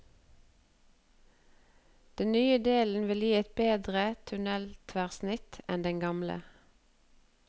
Den nye delen vil gi et bedre tunneltverrsnitt enn den gamle.